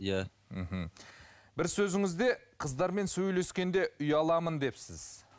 иә ммм бір сөзіңізде қыздармен сөйлескенде ұяламын депсіз